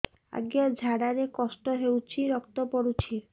ଅଜ୍ଞା ଝାଡା ରେ କଷ୍ଟ ହଉଚି ରକ୍ତ ପଡୁଛି